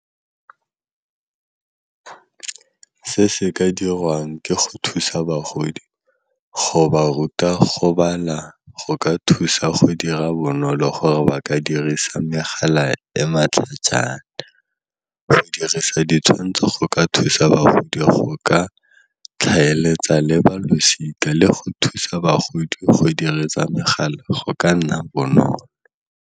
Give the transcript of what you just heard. Se se ka dirwang ke go thusa bagodi, go ba ruta go bala go ka thusa go dira bonolo gore ba ka dirisa megala e matlhajana, go dirisa ditshwantsho go ka thusa bagodi go ka tlhaeletsa le balosika le go thusa bagodi go diragatsa megala go ka nna bonolo.